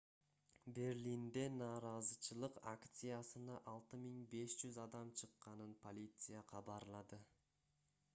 берлинде нааразычылык акциясына 6500 адам чыкканын полиция кабарлады